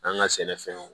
An ka sɛnɛfɛnw